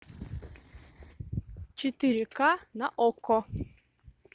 четыре ка на окко